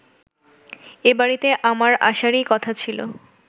এবাড়িতে আমার আসারই কথা ছিল